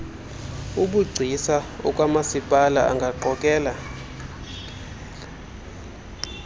obugcisa okwamasipala angaqokele